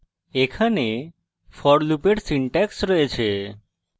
এখানে for লুপের syntax রয়েছে